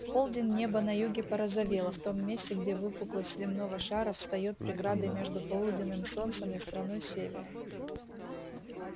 в полдень небо на юге порозовело в том месте где выпуклость земного шара встаёт преградой между полуденным солнцем и страной севера